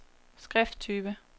skrifttype